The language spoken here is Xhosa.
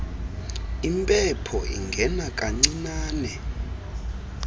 impepho ingena kancinane